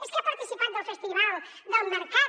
és que ha participat del festival del mercat